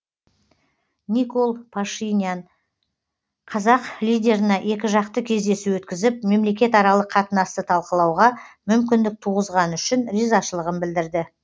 никол пашинян қазақ лидеріне екіжақты кездесу өткізіп мемлекетаралық қатынасты талқылауға мүмкіндік туғызғаны үшін ризашылығын білдірді